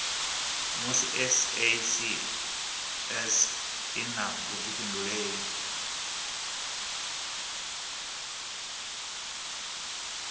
musi sasc i na vhuifhinduleli